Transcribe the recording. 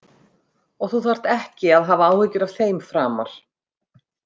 Og þú þarft ekki að hafa áhyggjur af þeim framar.